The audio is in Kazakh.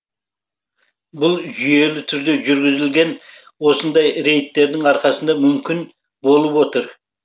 бұл жүйелі түрде жүргізілген осындай рейдтердің арқасында мүмкін болып отыр